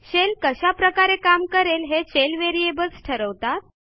shell कशा प्रकारे काम करेल हे शेल व्हेरिएबल्स ठरवतात